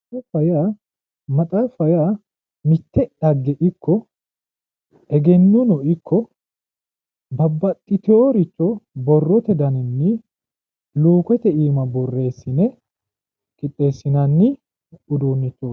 Maxaaffa yaa mite dhagge giddo egennono ikko babbaxitino borrote dannini lukkete iima borreesine qixxesinanni uduunichoti